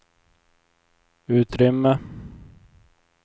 utrymme